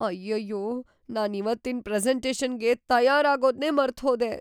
ಅಯ್ಯಯ್ಯೋ! ನಾನಿವತ್ತಿನ್‌ ಪ್ರೆಸೆಂಟೇಷನ್‌ಗೆ ತಯಾರಾಗೋದ್ನೇ ಮರ್ತ್‌ಹೋದೆ.